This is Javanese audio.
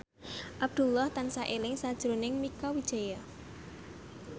Abdullah tansah eling sakjroning Mieke Wijaya